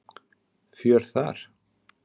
Fjör þar.